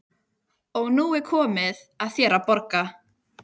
Og nú er komið að þér að borga.